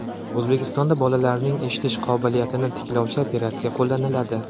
O‘zbekistonda bolalarning eshitish qobiliyatini tiklovchi operatsiya qo‘llaniladi.